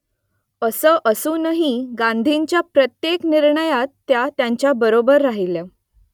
असं असूनही गांधीजींच्या प्रत्येक निर्णयात त्या त्यांच्याबरोबर राहिल्या